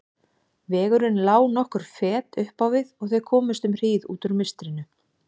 Vegurinn lá nokkur fet upp á við og þau komust um hríð út úr mistrinu.